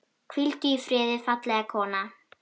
Hvíldu í friði, fallega kona.